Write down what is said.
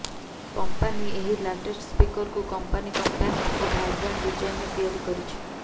company ଏହି latest ସ୍ପିକରକୁ company compact ଓ ଭାଇବ୍ରାଣ୍ଟ ଡିଜାଇନ୍ରେ ତିଆରି କରିଛି